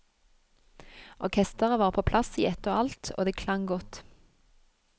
Orkestret var på plass i ett og alt, og det klang godt.